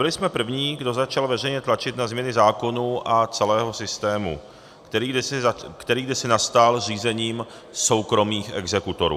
Byli jsme první, kdo začal veřejně tlačit na změny zákonů a celého systému, který kdysi nastal zřízením soukromých exekutorů.